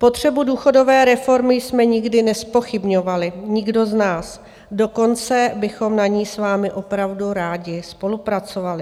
Potřebu důchodové reformy jsme nikdy nezpochybňovali, nikdo z nás, dokonce bychom na ní s vámi opravdu rádi spolupracovali.